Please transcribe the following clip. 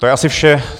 To je asi vše.